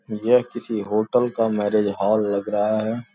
यह किसी होटल का मैरेज हॉल लग रहा है।